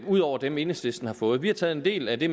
ud over dem enhedslisten har fået vi har taget en del af det